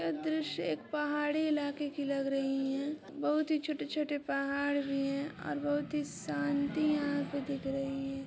यह दृश्य एक पहाड़ी इलाके की लग रही है बहुत ही छोटे छोटे पहाड़ है और बहुत ही शांति यहा पे दिख रही है।